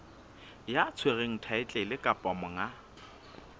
ya tshwereng thaetlele kapa monga